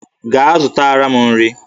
Gaa zụtara m nri!